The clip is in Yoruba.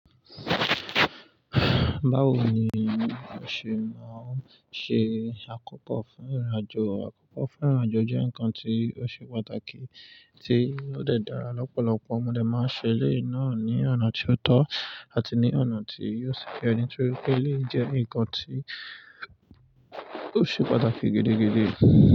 Báwo ni o se máa ń ṣe àkópọ̀ fún ìrìn-àjò? Àkópọ̀ fún ìrìn-àjò jẹ́ ǹkan tí ó ṣe pàtàkì tí ó dè dára lọ́pọ̀lọpọ̀. Mo dẹ máa ń ṣe eleyii náà ní ọ̀nà tí ó tọ́ àti ní ọ̀nà tí yóò ṣi ye nitorí pé eleyii jẹ́ ǹkan tí ó ṣe pàtàkì gidi gidi.